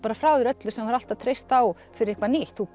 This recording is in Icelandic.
frá þér öllu sem þú hefur alltaf treyst á fyrir eitthvað nýtt þú